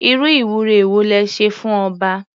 Irú ìwúre wo le ṣe fún ọba?